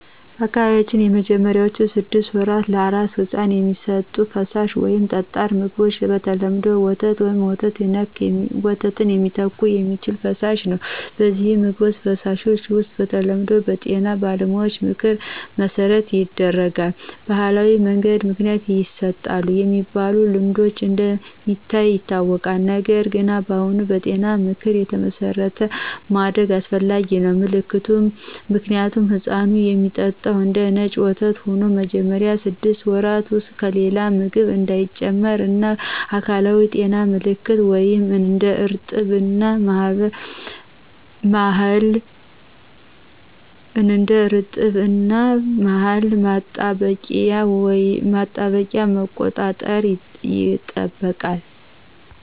በአካባቢዎ በመጀመሪያዎቹ ስድስት ወራት ለአራስ ሕፃን የሚሰጡት ፈሳሽ ወይም ጠጣር ምግቦች በተለምዶ ወተት ወይም ወተት ሚተካ የሚችል ፈሳሽ ነው። እነዚህን ምግቦች/ፈሳሾች መስጠት በተለምዶ በጤና ባለሙያዎች ምክር መሠረት ይደረጋል። በባህላዊ መንገድ ምክንያት ይሰጡ የሚባሉ ልማዶች እንደ ሚታዩ ይታወቃል፣ ነገር ግን አሁን በጤና ምክር የተመሠረተ ማድረግ አስፈላጊ ነው። ምልከታ ሕፃኑ የሚጠጣው እንደነጭ ወተት ሆኖ መጀመሪያ ስድስት ወራት ውስጥ ከሌላ ምግብ እንዳይጨምር እና የአካላዊ ጤና ምልከቶች (እንደ እርጥብ እና ማህል ማጠባበቂያ) መቆጣጠር ይጠበቃል።